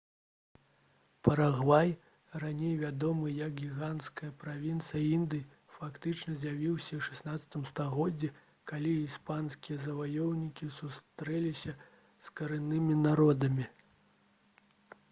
парагвай раней вядомы як «гіганцкая правінцыя індыі» фактычна з'явіўся ў 16 стагоддзі калі іспанскія заваёўнікі сустрэліся з карэннымі народамі